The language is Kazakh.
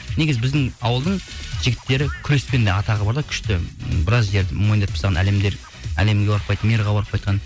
негізі біздің ауылдың жігіттері күреспен де атағы бар да күшті ммм біраз жерді мойындатып тастаған әлемдер әлемге барып қайтты мирға барып қайтқан